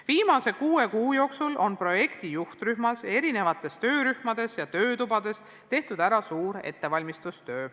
Viimase kuue kuu jooksul on projekti juhtrühmas, erinevates töörühmades ja töötubades tehtud ära suur ettevalmistustöö.